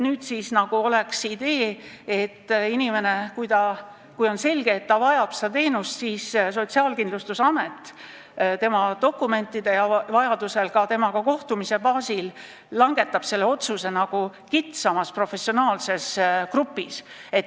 Nüüd nagu oleks idee, et kui on selge, et inimene vajab seda teenust, siis Sotsiaalkindlustusamet dokumentide alusel ja vajadusel ka inimesega kohtumise baasil langetab selle otsuse kitsamas professionaalses grupis.